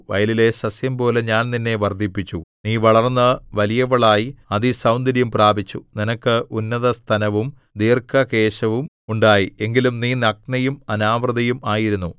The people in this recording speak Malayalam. വയലിലെ സസ്യംപോലെ ഞാൻ നിന്നെ വർദ്ധിപ്പിച്ചു നീ വളർന്നു വലിയവളായി അതിസൗന്ദര്യം പ്രാപിച്ചു നിനക്ക് ഉന്നതസ്തനവും ദീർഘകേശവും ഉണ്ടായി എങ്കിലും നീ നഗ്നയും അനാവൃതയും ആയിരുന്നു